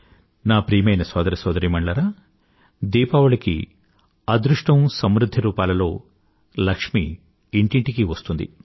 నా ప్రియమైన సోదర సోదరీమణులారా దీపావళికి అదృష్టము సమృధ్ది రూపాలలో లక్ష్మి ఇంటింటికీ వస్తుంది